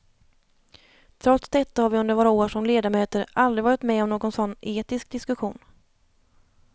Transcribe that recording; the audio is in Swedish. Trots detta har vi under våra år som ledamöter aldrig varit med om någon sådan etisk diskussion.